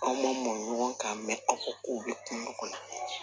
Aw ma mɔn ɲɔgɔn kan aw ka kow bɛ kungo kɔnɔ